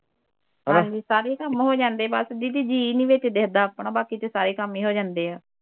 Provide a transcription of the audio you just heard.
ਹਾਂਜੀ ਸਾਰੇ ਕੰਮ ਹੋ ਜਾਂਦੇ ਬਸ ਦੀਦੀ ਜੀ ਨੀ ਵਿਚ ਵਿਖਦਾ ਆਪਣਾ ਬਾਕੀ ਤੇ ਸਾਰੇ ਕੰਮ ਹੀ ਹੋ ਜਾਂਦੇ ਆ